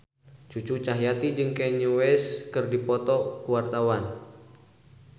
Cucu Cahyati jeung Kanye West keur dipoto ku wartawan